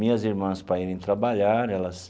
Minhas irmãs para irem trabalhar, elas...